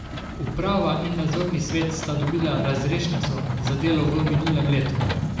Uprava in nadzorni svet sta dobila razrešnico za delo v minulem letu.